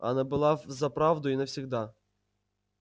она была взаправду и навсегда